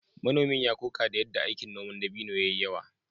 Manomin ya koka da yadda aikin noman dabino ya yi yawa